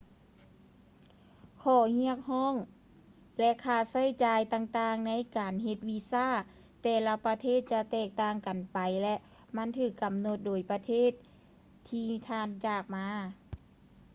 ຂໍ້ຮຽກຮ້ອງ ແລະ ຄ່າໃຊ້ຈ່າຍຕ່າງໆໃນການເຮັດວີຊາຂອງແຕ່ລະປະເທດຈະແຕກຕ່າງກັນໄປ ແລະ ມັນຖືກກຳນົດໂດຍປະເທດທີ່ທ່ານຈາກມາ